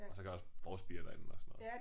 Og så kan jeg også forspire derinde og sådan noget